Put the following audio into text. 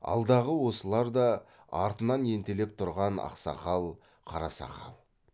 алдағы осылар да артынан ентелеп тұрған ақсақал қарасақал